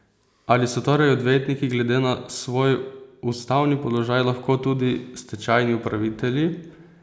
Ali so torej odvetniki glede na svoj ustavni položaj lahko tudi stečajni upravitelji?